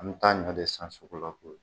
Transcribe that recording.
An bɛ taa ɲɔ de san sugu la koyi.